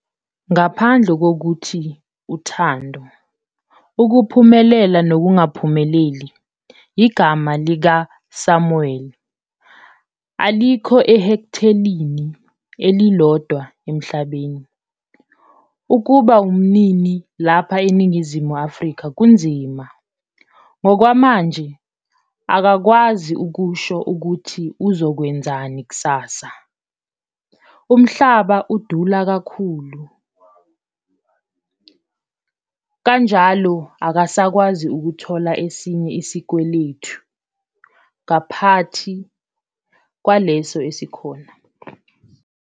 Ngaphandle ngokuthi uthando, ukuphumelela nokungaphumeleli, igama likaSamuel alikho ehekthelini elilodwa emhlabeni. Ukuba umnini lapha eNingizumu Afika kunzima. Ngokwamanje akakwazi ukusho ukuthi uzo kwenzani kusasa. Umhlaba udula kakhu, kanjalo akasakwazi ukuthola esinye isikwelethu ngaphathi kwaleso esikhona.